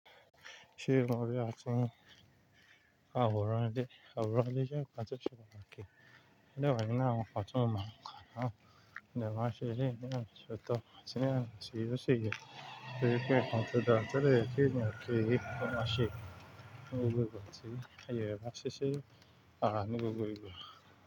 Àwòrán ile, àwòrán ile jẹ́ nnkan to se pàtàkì sí ọ̀rẹ́ mi. Ní ọjọ́ ìnáwó ọ̀túnmọ̀ ọkọ àwọn, ìdámọ̀ṣẹ́ yìí ni a ń ṣọtọ́, àti ní àwọn Ṣírọ̀ síye. Níbi pé a ń tọ́ dáńtọ́ lẹ́yìn tí ìgbọ̀n ọmọ ṣe, gbogbo ẹni sì yọ ẹwà ṣíṣe, àrá ni gbogbo ìgbà.